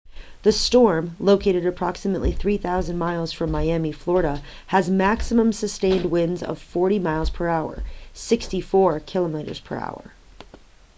the storm located approximately 3,000 miles from miami florida has maximum sustained winds of 40 mph 64 kph